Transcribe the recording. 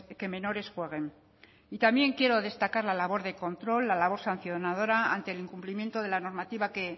que menores jueguen y también quiero destacar la labor de control la labor sancionadora ante el incumplimiento de la normativa que